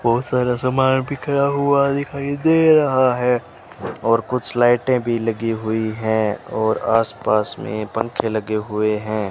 बहोत सारा सामान बिखरा हुआ दिखाई दे रहा है और कुछ लाइटें भी लगी हुई है और आस पास में पंखे लगे हुए हैं।